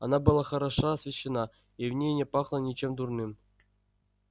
она была хорошо освещена и в ней не пахло ничем дурным